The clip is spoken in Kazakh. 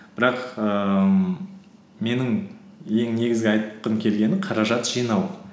бірақ ііі менің ең негізгі айтқым келгені қаражат жинау